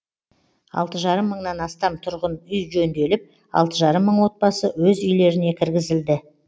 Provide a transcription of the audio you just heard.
алты жарым мыңнан астам тұрғын үй жөнделіп алты жарым мың отбасы өз үйлеріне кіргізілді